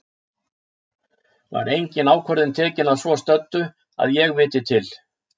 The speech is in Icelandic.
Var engin ákvörðun tekin að svo stöddu, að ég viti til.